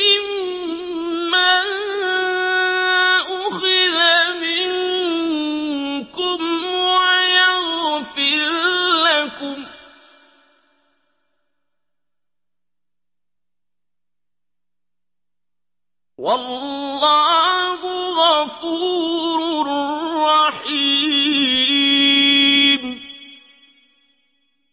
مِّمَّا أُخِذَ مِنكُمْ وَيَغْفِرْ لَكُمْ ۗ وَاللَّهُ غَفُورٌ رَّحِيمٌ